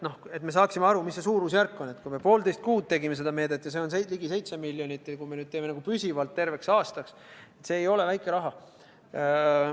Et me saaksime aru, mis see suurusjärk on, siis: kui me poolteist kuud tegime seda meedet ja see on ligi 7 miljonit ja kui me nüüd teeme püsivalt terveks aastaks, see ei ole väike raha.